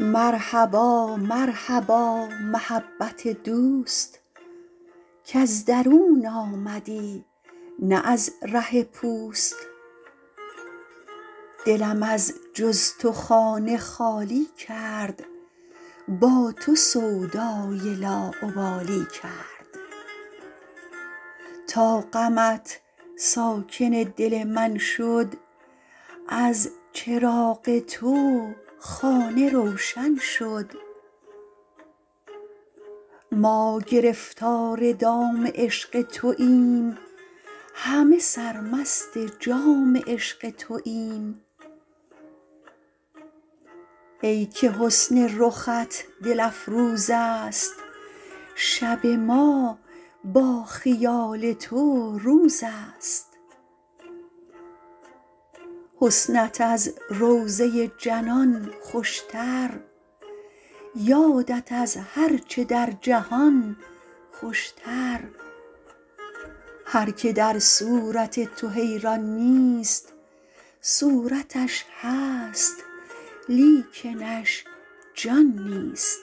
مرحبا مرحبا محبت دوست کز درون آمدی نه از راه پوست دلم از چز تو خانه خالی کرد با تو سودای لاابالی کرد تا غمت ساکن دل من شد از چراغ تو خانه روشن شد ما گرفتار دام عشق توایم همه سرمست جام عشق توایم ای که حسن رخت دل افروز است شب ما با خیال تو روز است حسنت از روضه جنان خوشتر یادت از هرچه در جهان خوشتر هر که در صورت تو حیران نیست صورتش هست لیکنش جان نیست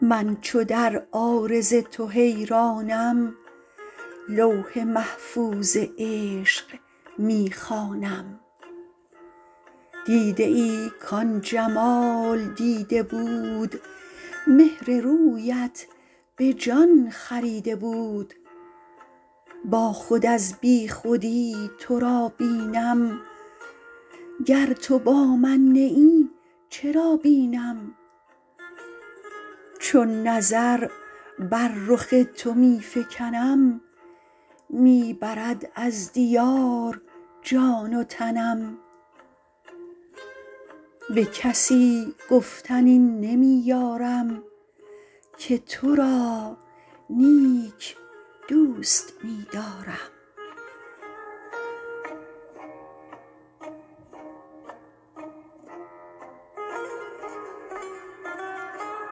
من چو در عارض تو حیرانم لوح محفوظ عشق می خوانم دیده ای کان جمال دیده بود مهر رویت به جان خریده بود با خود از بیخودی تو را بینم گر تو با من نه ای چرا بینم چون نظر بر رخ تو می فگنم می برد از دیار جان و تنم به کسی گفتن این نمی یارم که تو را نیک دوست می دارم